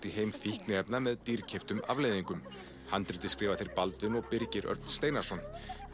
í heimi fíkniefna með dýrkeyptum afleiðingum handritið skrifa þeir Baldvin og Birgir Örn Steinarsson